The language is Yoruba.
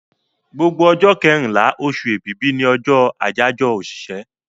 Gbogbo ọjọ́ kẹrínlá, osù èbìbí ni ọjọ́ àyáyọ́ òṣìṣẹ́